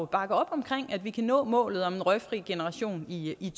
bakke op om at vi kan nå målet om en røgfri generation i